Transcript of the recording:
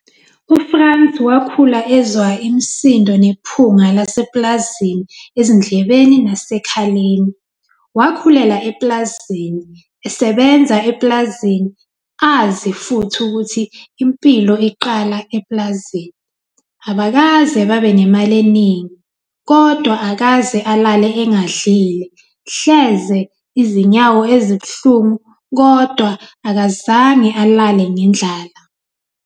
UFrans wakhula ezwa imisindo nephunga lasepulazini ezindlebeni nasekhaleni. Wakhulela epulazini, esebenza epulazini azi futhi ukuthi impilo iqala epulazini. Abakaze babe nemali eningi, kodwa akaze alale engadlile - hleze izinyawo ezibuhlungu, kodwa akazange alale ngendlala.